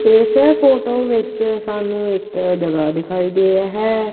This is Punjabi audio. ਇਸ ਫ਼ੋਟੋ ਵਿੱਚ ਸਾਨੂੰ ਇੱਕ ਜਗਹਾ ਦਿਖਾਈ ਦੇ ਰਿਹਾ ਹੈ।